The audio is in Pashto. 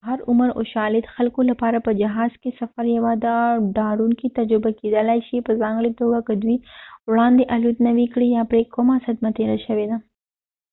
د هر عمر او شالید خلکو لپاره په جهاز کې سفر یوه ډاروونکې تجربه کېدلای شي په ځانګړې توګه که دوی وړاندې الوت نه وي کړی یا پرې کومه صدمه تېره شوې ده